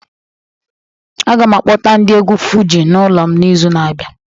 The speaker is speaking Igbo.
Aga m akpọta ndị egwu Fuji n'ụlọ m n'izu na-abịa